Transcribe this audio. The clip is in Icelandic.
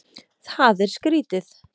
Það er skrítið.